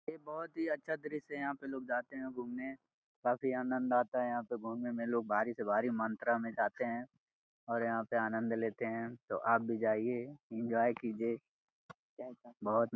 ये बहुत ही अच्छा दृश्य है। यहाँ पे लोग जाते हैं घूमने काफी आनंद आता है यहाँ पे घुमने में लोग भारी से भारी मात्रा में जाते हैं और यहाँ पे आनंद लेते हैं तो आप भी जाइये एन्जॉय कीजिए। बहुत --